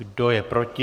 Kdo je proti?